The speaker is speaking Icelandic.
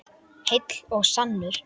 Heill og sannur.